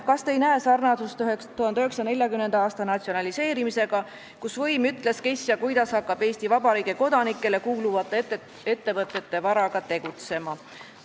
Kas te ei näe sarnasust 1940. aasta natsionaliseerimisega, kus võim ütles, kes ja kuidas hakkab Eesti Vabariigi kodanikele kuuluvate ettevõtete varaga tegutsema?